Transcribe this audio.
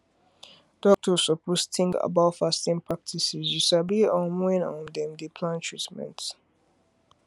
doktors suppose tink about fasting practices you sabi um wen um dem dey plan treatment